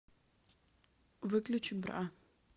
выключи бра